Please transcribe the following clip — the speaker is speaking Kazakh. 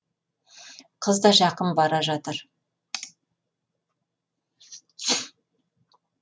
қыз да жақын бара жатыр